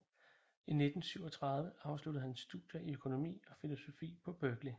I 1937 afsluttede han studier i økonomi og filosofi på Berkeley